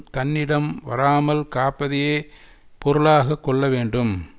தன்னிடம் வராமல் காப்பதையே பொருளாக கொள்ள வேண்டும்